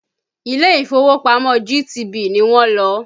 Ilé ìfowópamọ́ GTB ni wọ́n lọ